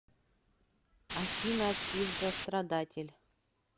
афина пиздострадатель